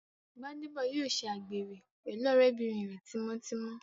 Gbádébọ̀ yóò ṣe àgbèrè pẹ̀lú ọ̀rẹ́bìnrin rẹ̀ tímọ́ tímọ́